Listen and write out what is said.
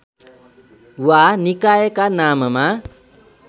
वा निकायका नाममा